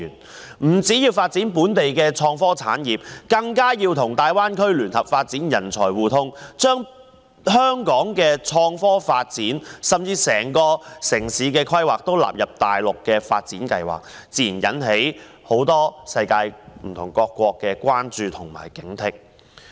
政府不但要發展本地的創科產業，更要與大灣區聯合發展人才互通，將香港的創科發展甚至整個城市的規劃全部納入大陸的發展計劃，這自然引起世界各國的關注及警惕。